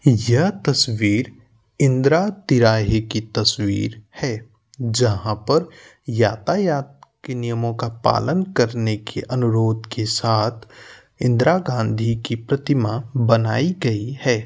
यह तस्वीर इन्दरा तिरहा की तस्वीर है। जहाँ पर यातायात के नियमो का पालन करने के अनुरोग के साथ इंद्रा गाँधी की प्रतिमा बनाई गयी है।